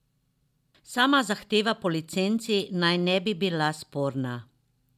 Sama zahteva po licenci naj ne bi bila sporna.